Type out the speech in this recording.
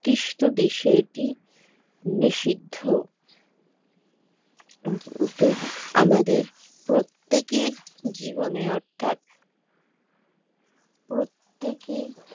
র্দিষ্ট দেশে এটি নিষিদ্ধ আমাদের প্রত্যেকের জীবনে অর্থাৎ প্রত্যেকে